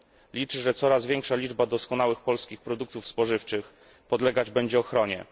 Liczę, że coraz większa liczba doskonałych polskich produktów spożywczych podlegać będzie ochronie.